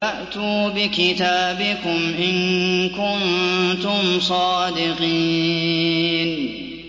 فَأْتُوا بِكِتَابِكُمْ إِن كُنتُمْ صَادِقِينَ